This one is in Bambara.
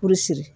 Furu siri